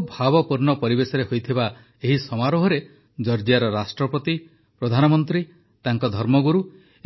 ବହୁତ ଭାବପୂର୍ଣ୍ଣ ପରିବେଶରେ ହୋଇଥିବା ଏହି ସମାରୋହରେ ଜର୍ଜିଆର ରାଷ୍ଟ୍ରପତି ପ୍ରଧାନମନ୍ତ୍ରୀ ତାଙ୍କ ଧର୍ମଗୁରୁ